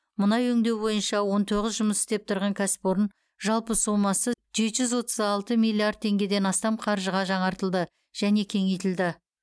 мұнай өңдеу бойынша он тоғыз жұмыс істеп тұрған кәсіпорын жалпы сомасы жеті жүз отыз алты миллиард теңгеден астам қаржыға жаңартылды және кеңейтілді